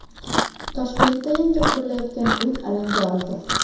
Toshkentda yangi qurilayotgan uy alanga oldi .